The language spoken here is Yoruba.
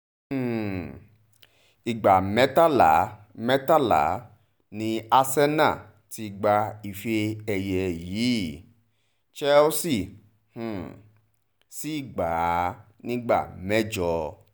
um ìgbà mẹ́tàlá mẹ́tàlá ni arsenal ti gba ife-ẹ̀yẹ yìí chelsea um sí gbà á nígbà mẹ́jọ